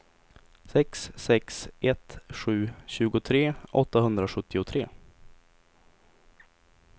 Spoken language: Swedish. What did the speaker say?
sex sex ett sju tjugotre åttahundrasjuttiotre